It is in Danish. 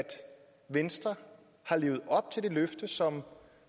venstre har levet op til det løfte som